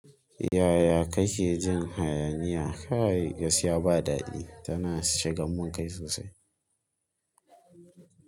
Yaya kake jin hayaniya? Kai gaskiya ba daɗi, tana shigan mun kai sosai.